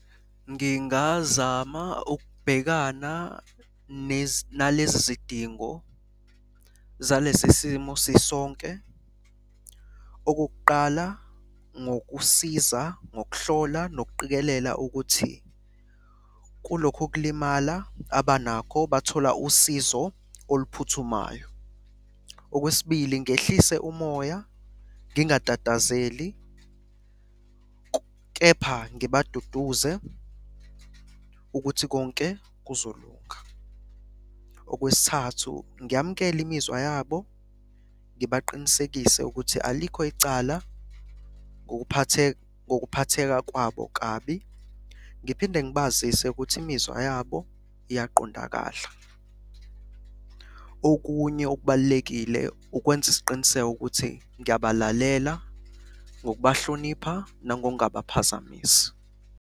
Ngingazama ukubhekana nalezi zidingo zalesi simo sisonke. Okokuqala, ngokusiza ngokuhlola nokuqikelela ukuthi kulokhu ukulimala abanakho bathola usizo oluphuthumayo. Okwesibili ngehlise umoya ngingatatazeli, kepha ngibaduduze ukuthi konke kuzolunga. Okwesithathu, ngiyamukele imizwa yabo, ngibaqinisekise ukuthi alikho icala ngokuphatheka kwabo kabi. Ngiphinde ngibazise ukuthi imizwa yabo iyaqondakala. Okunye okubalulekile ukwenza isiqiniseko ukuthi ngiyabalalela ngokubahlonipha nangokungabaphazamisi.